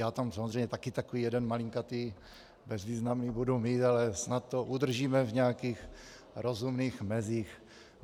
Já tam samozřejmě také takový jeden malinkatý, bezvýznamný budu mít, ale snad to udržíme v nějakých rozumných mezích.